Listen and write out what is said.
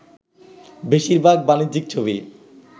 বেশির ভাগ ‘বাণিজ্যিক’ ছবি